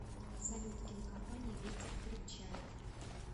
салют кинокомпания ветер крепчает